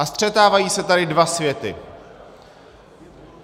A střetávají se tady dva světy.